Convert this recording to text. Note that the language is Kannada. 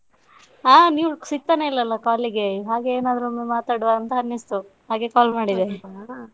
ಹಾ ನೀವು ಸಿಗ್ತಾನೆ ಇಲ್ಲ ಅಲ್ಲಾ call ಗೆ ಹಾಗೆ ಏನಾದ್ರೊಂದು ಮಾತಾಡುವ ಅಂತ ಅನ್ನಿಸ್ತು ಹಾಗೆ call ಮಾಡಿದೆ .